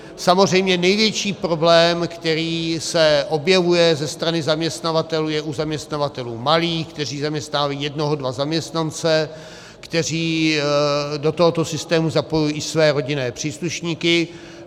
Samozřejmě největší problém, který se objevuje ze strany zaměstnavatelů, je u zaměstnavatelů malých, kteří zaměstnávají jednoho dva zaměstnance, kteří do tohoto systému zapojují i své rodinné příslušníky.